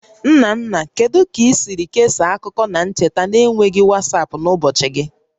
Nna nna, kedu ka i siri kesaa akụkọ na ncheta na-enweghị WhatsApp n'ụbọchị gị?